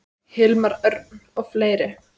Hilmar Örn og fleiri.